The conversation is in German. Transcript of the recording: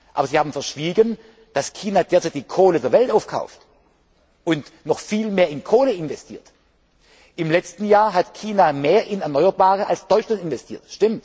Aber Sie haben verschwiegen, dass China derzeit die Kohle der Welt aufkauft und noch viel mehr in Kohle investiert. Im letzten Jahr hat China mehr in erneuerbare Energien als Deutschland investiert.